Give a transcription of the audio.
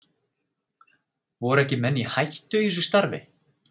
Voru ekki menn í hættu í þessu starfi?